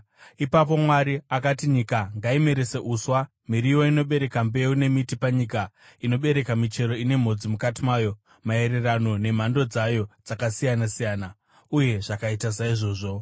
Ipapo Mwari akati, “Nyika ngaimerese uswa: miriwo inobereka mbeu nemiti panyika inobereka michero ine mhodzi mukati mayo, maererano nemhando dzayo dzakasiyana-siyana.” Uye zvakaita saizvozvo.